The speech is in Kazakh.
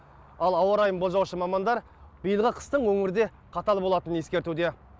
ал ауа райын болжаушы мамандар биылғы қыстың өңірде қатал болатынын ескертуде